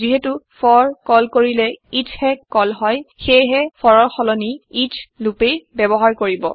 যিহেটো for call কৰিলে eachহে কল হয় সেইহে ফৰৰ সলনি eachলুপেই ব্যৱহাৰ কৰিব